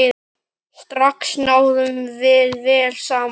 Strax náðum við vel saman.